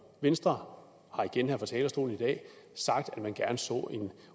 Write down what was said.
venstre har igen her fra talerstolen i dag sagt at man gerne så en